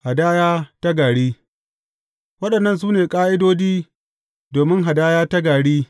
Hadaya ta gari Waɗannan su ne ƙa’idodi domin hadaya ta gari.